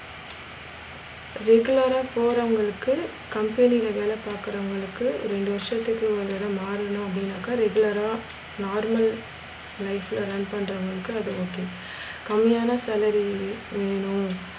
regular ஆ போறவுங்களுக்கு company ளே வேலை பாக்குறவங்குளுக்கு ரெண்டு வருஷத்துக்கு ஒரு தடவ மாறனும் அப்டினாக்க regular ஆ normal life ல run பன்றவுங்களுக்கு அது okay கம்மியான salary வேணும்